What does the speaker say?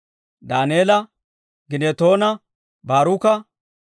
Daaneela, Ginnetoona, Baaruka,